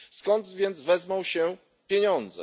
Skąd więc wezmą się pieniądze?